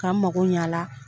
K'an mago ɲɛ a la.